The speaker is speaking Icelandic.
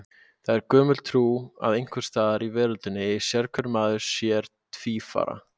Það er gömul trú að einhvers staðar í veröldinni eigi sérhver maður sér tvífara.